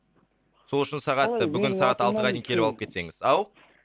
сол үшін сағат бүгін сағат алтыға дейін келіп алып кетсеңіз ау